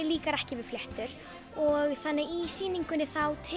líkar ekki við fléttur og þannig að í sýningunni